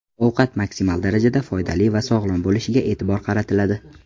Ovqat maksimal darajada foydali va sog‘lom bo‘lishiga e’tibor qaratiladi.